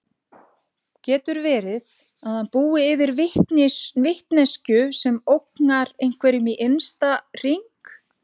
Getur verið að hann búi yfir vitneskju sem ógnar einhverjum í innsta hring?